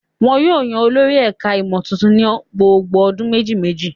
Wọn yóò yan olórí ẹ̀ka-ìmọ̀ tuntun ní gbogbo ọdún méjì-mejì.